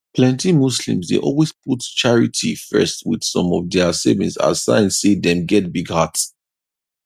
plenty muslims dey always put charity first wit some of dia savings as sign say dem get big heart